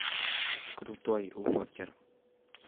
крутой уокер